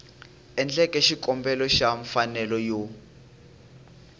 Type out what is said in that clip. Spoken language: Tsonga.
endleke xikombelo xa mfanelo yo